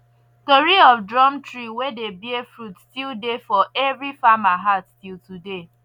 tori of drum tree wey dey bear fruit still dey for every farmer heart till today